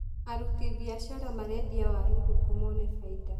Aruti biacara marendia waru ndungu mone bainda.